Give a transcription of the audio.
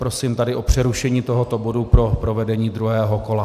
Prosím tedy o přerušení tohoto bodu pro provedení druhého kola.